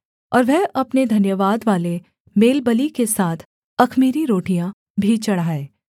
और वह अपने धन्यवादवाले मेलबलि के साथ अख़मीरी रोटियाँ भी चढ़ाए